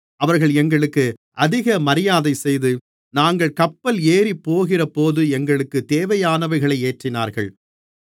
அவர்கள் எங்களுக்கு அதிக மரியாதை செய்து நாங்கள் கப்பல் ஏறிப்போகிறபோது எங்களுக்குத் தேவையானவைகளை ஏற்றினார்கள்